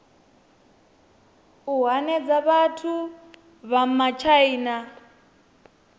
u hanedza vhathu vha matshaina